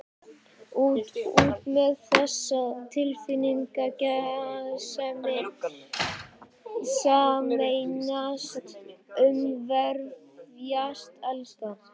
Út, út með þessa tilfinningasemi: sameinast, umvefjast, elska.